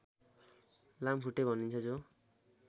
लामखुट्टे भनिन्छ जो